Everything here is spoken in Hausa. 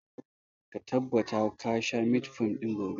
Ka tabbata ga sha metformin ɗin gobe!